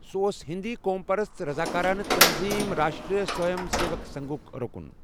سُہ اوس ہیٚنٛدۍقوم پَرست رضاكارانہٕ تنظیٖم، راشٹرٛیہ سٕوَیم سیوَک سنٛگُھک رُکُن۔